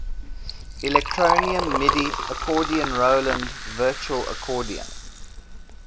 electronium midi accordion roland virtual accordion